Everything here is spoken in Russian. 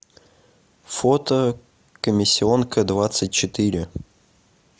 фото комиссионкадвадцатьчетыре